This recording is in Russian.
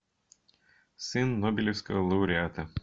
сын нобелевского лауреата